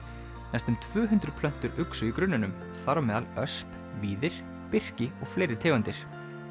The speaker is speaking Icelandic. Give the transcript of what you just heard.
næstum tvö hundruð plöntur uxu í grunninum þar á meðal ösp víðir birki og fleiri tegundir